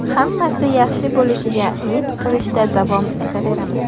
Hammasi yaxshi bo‘lishiga umid qilishda davom etaveramiz.